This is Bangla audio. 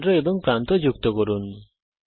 কেন্দ্র এবং প্রান্ত যুক্ত করুন